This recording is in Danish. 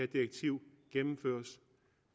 direktiv gennemføres